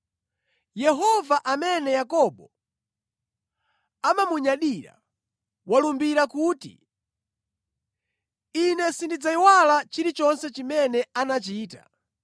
Yehova amene Yakobo amamunyadira, walumbira kuti: Ine sindidzayiwala chilichonse chimene anachita.